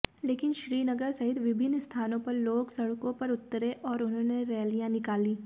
लेकिन श्रीनगर सहित विभिन्न स्थानों पर लोग सड़कों पर उतरे और उन्होंने रैलियां निकाली